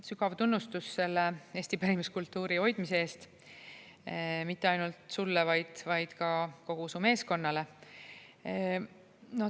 Sügav tunnustus eesti pärimuskultuuri hoidmise eest – mitte ainult sulle, vaid ka kogu su meeskonnale.